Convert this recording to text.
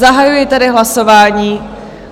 Zahajuji tedy hlasování.